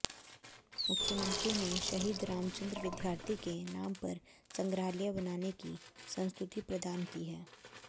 मुख्यमंत्री ने शहीद रामचंद्र विद्यार्थी के नाम पर संग्रहालय बनाने की संस्तुति प्रदान की है